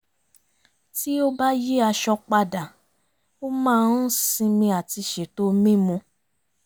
tí ó bá yí aṣọ padà ó máa ń sinmi àti ṣètò mímu